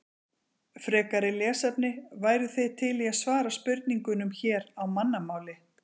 Frekara lesefni: Væruð þið til í að svara spurningunum hér á mannamáli?